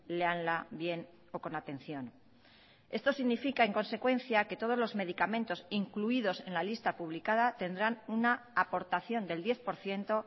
léanla bien o con atención esto significa en consecuencia que todos los medicamentos incluidos en la lista publicada tendrán una aportación del diez por ciento